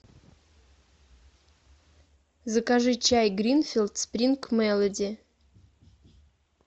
закажи чай гринфилд спринг мелоди